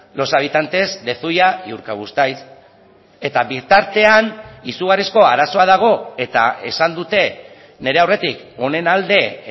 los habitantes de zuia y urkabustaiz eta bitartean izugarrizko arazoa dago eta esan dute nire aurretik honen alde